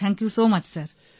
thank you so much sir